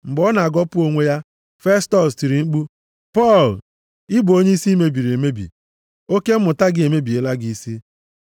Mgbe ọ na-agọpụ onwe ya, Festọs tiri mkpu, “Pọl, ị bụ onye isi mebiri! Oke mmụta gị emebiela gị isi.”